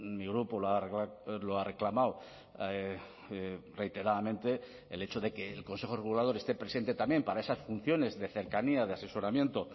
mi grupo lo ha reclamado reiteradamente el hecho de que el consejo regulador esté presente también para esas funciones de cercanía de asesoramiento